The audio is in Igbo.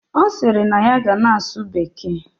Osiri na ya ga na asu bekee